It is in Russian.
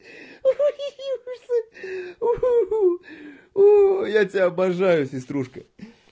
хи-хи-у я тебя обожаю сеструшка